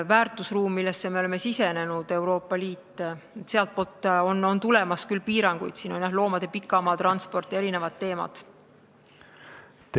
Väärtusruumist, millesse me oleme sisenenud, Euroopa Liidust, on küll tulemas piiranguid loomade pikamaatranspordi ja eri teemade kohta.